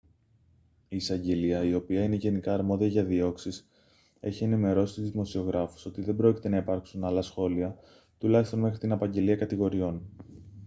η εισαγγελία η οποία είναι γενικά αρμόδια για διώξεις έχει ενημερώσει τους δημοσιογράφους ότι δεν πρόκειται να υπάρξουν άλλα σχόλια τουλάχιστον μέχρι την απαγγελία κατηγοριών